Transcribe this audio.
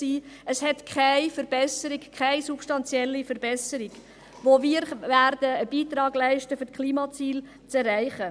Es gibt keine substanzielle Verbesserung, mit der wir einen Beitrag leisten könnten, um die Klimaziele zu erreichen.